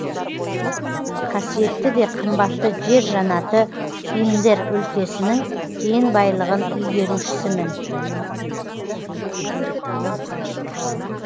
қасиетті де қымбатты жер жаннаты индер өлкесінің кен байлығын игерушісімін